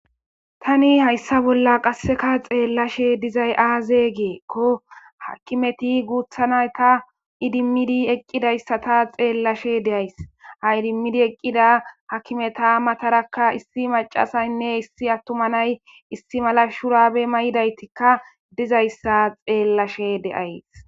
tani hayssa bolla qasseka xeellashe dizay aaze geekko hakimeti guuthanayta idimmidi eqqidayssata xeellashe deays ha idimmidi eqqida hakimeta matarakka issi macasaynne issi attuma nay issi mala shurabe may7idaytikka dizayssa xeellashe deays